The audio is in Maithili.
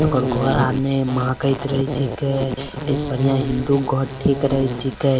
एकर घर आर ने महकत रहे छींके ए से बढ़िया हिंदू के घर ठीक रहे छींके।